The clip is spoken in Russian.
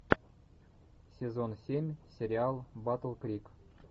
сезон семь сериал батл крик